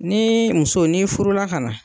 Ni muso n'i furula ka na